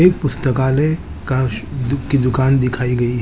एक पुस्तकालय का बुक की दुकान दिखाई गई है।